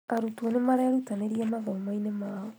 Arutwo nĩmarerũtanĩria mathomo-inĩ mao